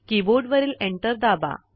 कीबोर्डवरील एंटर दाबा